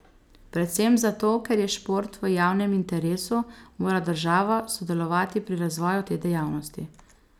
Predvsem zato, ker je šport v javnem interesu, mora država sodelovati pri razvoju te dejavnosti.